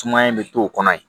Sumaya in bɛ to o kɔnɔ yen